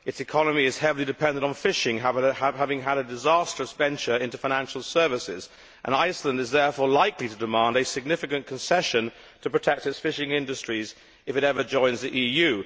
Its economy is heavily dependent on fishing, however, having had a disastrous venture into financial services, and Iceland is therefore likely to demand a significant concession to protect its fishing industries if it ever joins the EU.